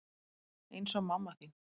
Eins og mamma þín.